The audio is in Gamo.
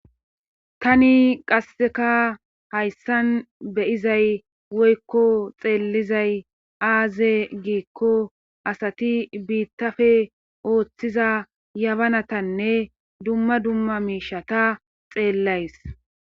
tani qasseka hayssan beyizay woykko xeellizay aaze giikko asati biittafe ooththiza yabanatanne dumma dumma miishata xeellays